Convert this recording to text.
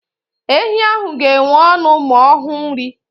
Ehi ahụ ga enwe ọṅụ ma ọhụ nri